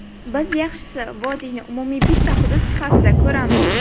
Biz yaxshisi vodiyni umumiy bitta hudud sifatida ko‘ramiz.